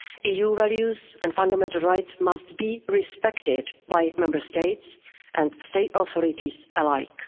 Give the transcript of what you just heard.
society. EU values and fundamental rights must be respected by Member States and state authorities